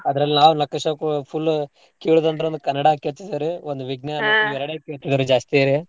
ಅದ್ರಲ್ಲ್ ನಾವ್ full ಕೇಳುದಂದ್ರೆ ಒಂದ್ ಕನ್ನಡಾ ಕೇಳ್ತಿದ್ವ್ ರೀ ಒಂದ್ ವಿಜ್ಞಾನ ಇವೆರ್ಡೇ ಕೇಳ್ತಿದ್ವಿ ರೀ ಜಾಸ್ತಿ ರೀ.